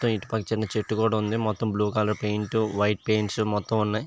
ఇటు పక్కన చేటు కూడా ఉన్నది blue colour paint white colour మొత్తం ఉన్నాయి.